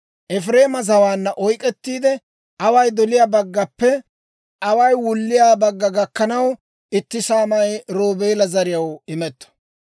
Efireema zawaanna oyk'k'ettiide, away doliyaa baggappe away wulliyaa gakkanaw itti saamay Roobeela zariyaw imetto.